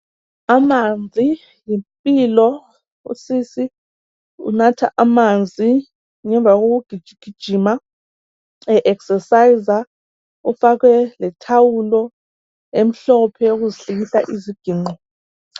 Amanzi yimpilo. Usisi unatha amanzi ngemva kokugijigijima e exerciser. Ufake lethawulo emhlophe eyokuzihlikihla iziginqo.